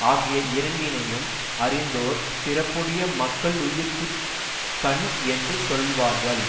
ஆகிய இரண்டினையும் அறிந்தோர் சிறப்புடைய மக்களுயிர்குக் கண் என்று சொல்வார்கள்